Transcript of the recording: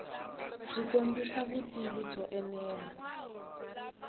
byi kombisa vutivi byo enela